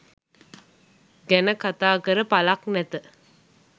ගැන කතා කර පළක් නැත.